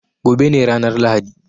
Gobe ne ranar Lahadi.